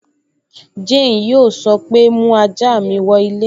Jane yóò sọ pé, 'mú ajá mi wọ ilé'